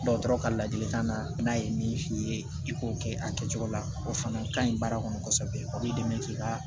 Dɔgɔtɔrɔ ka ladilikan na n'a ye min f'i ye i k'o kɛ a kɛcogo la o fana ka ɲi baara kɔnɔ kosɛbɛ a b'i dɛmɛ k'i ka